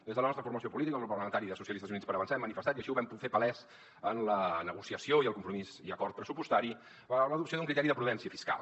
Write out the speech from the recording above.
des de la nostra formació política el grup parlamentari de socialistes i units per avançar hem manifestat i així ho vam fer palès en la negociació i el compromís i acord pressupostari l’adopció d’un criteri de prudència fiscal